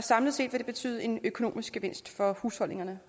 samlet set vil det betyde en økonomisk gevinst for husholdningerne